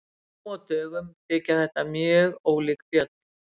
Nú á dögum þykja þetta mjög ólík fjöll.